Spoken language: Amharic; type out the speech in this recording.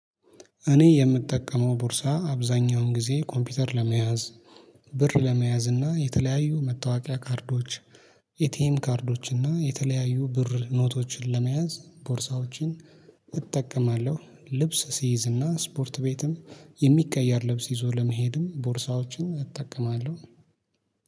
እኔ የምጠቀመው ቦርሳ አብዛኛውን ጊዜ ኮምፒውተር ለመያዝ ብር ለመያዝ እና የተለያዩ መታወቂያ ካርዶች የቲኤም ካርዶች እና የተለያዩ ብር ኖቶችን ለመያዝ ቦርሳዎችን እጠቀማለሁ። ልብስ ስይዝ እና ስፖርት ቤትም የሚቀያየር ልብስ ይዞ ለመሄድም ቦርሳዎችን እጠቀማለሁ